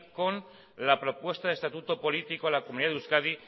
con la propuesta de estatuto político a la comunidad de euskadi